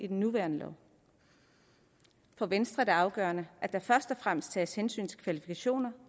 den nuværende lov for venstre er det afgørende at der først og fremmest tages hensyn til kvalifikationer